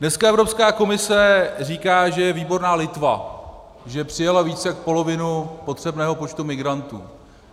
Dneska Evropská komise říká, že je výborná Litva, že přijala víc jak polovinu potřebného počtu migrantů.